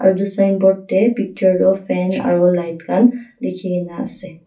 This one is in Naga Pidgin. etu signboard te picture toh fan aru light khan likhikena ase.